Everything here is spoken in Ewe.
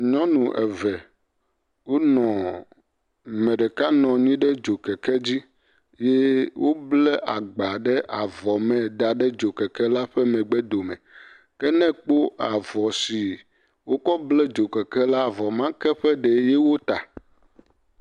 Nyɔnu eve wonɔ. Ame ɖeka nɔ anyi ɖe dzokeke dzi ye wobble agba ɖe avɔ me da ɖe dzokeke la ƒe megbedome. Ke ne ekpɔ avɔ si wokɔ ble dzokeke la avɔ ma ƒe ɖee ye wota.